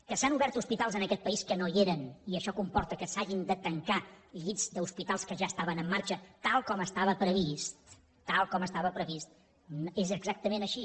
que s’han obert hospitals en aquest país que no hi eren i això comporta que s’hagin de tancar llits d’hospitals que ja estaven en marxa tal com estava previst és exactament així